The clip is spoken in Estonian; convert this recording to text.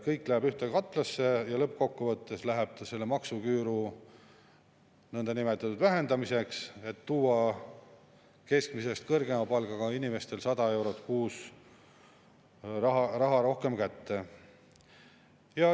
Kõik läheb ühte katlasse ja lõppkokkuvõttes läheb ta maksuküüru nõndanimetatud vähendamiseks, et anda keskmisest kõrgema palgaga inimestele 100 eurot kuus rohkem kätte.